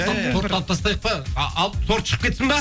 торт тортты алып тастайық па алып торт шығып кетсін бе